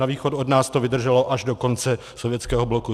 Na východ od nás to vydrželo až do konce sovětského bloku.